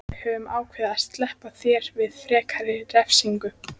Við höfum ákveðið að SLEPPA ÞÉR VIÐ FREKARI REFSINGU.